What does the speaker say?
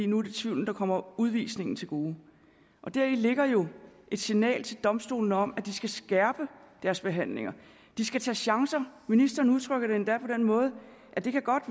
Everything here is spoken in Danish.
nu er det tvivlen der kommer udvisningen til gode og deri ligger jo et signal til domstolene om at de skal skærpe deres behandlinger at de skal tage chancer ministeren udtrykker det endda på den måde at det godt